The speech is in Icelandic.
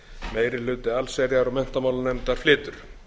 meiri hluti allsherjar og menntamálanefndar flytur